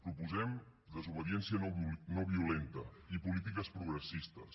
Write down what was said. proposem desobediència no violenta i polítiques progressistes